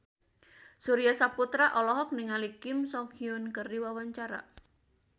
Surya Saputra olohok ningali Kim So Hyun keur diwawancara